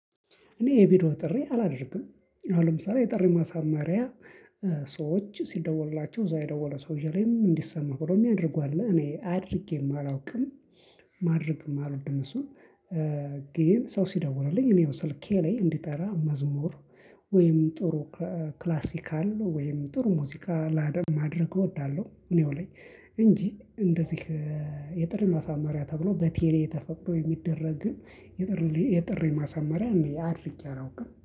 እኔ የቪዲዎ ጥሪ አላደርግም አሁን ለምሳሌ የጥሪ ማሳማሪያ ሰዎች ሲደወልላቸው እዛ የደወለ ሰውየ ላይ እንዲሰማው ነው የሚያደርጉ አለ እኔ አድርጌ ማላውቅም። ማድረግ ማልወድም እሱ። ግን ሰው ሲደውርልኝ እኔው ስልኬ ላይ እንዲጠራ መዝሙር ወይም ጥሩ ክላሲካል ወይም ጥሩ ሙዚቃ ላደም ማድረግ እወዳለሁ። እኔው ላይ እንጂ እንደዚህ የጥር ማሳመሪያ ተብሎ በቴሌ የተፈቅዶ የሚደረግ ግን የጥሪ የጥሪ ማሳመሪያ አድርጌ አላውቅም